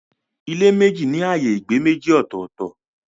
Ilé méjì ní ààyè ìgbé méjì ọ̀tọ̀ọ̀tọ̀.